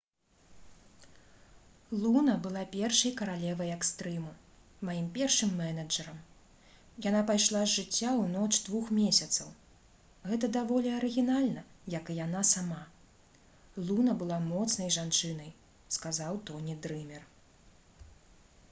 «луна была першай каралевай экстрыму. маім першым менеджэрам. яна пайшла з жыцця ў ноч двух месяцаў. гэта даволі арыгінальна як і яна сама. луна была моцнай жанчынай» — сказаў тоні дрымер